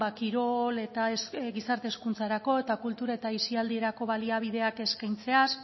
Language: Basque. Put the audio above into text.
kirol eta gizarte hezkuntzarako eta kultura eta aisialdirako baliabideak eskaintzeaz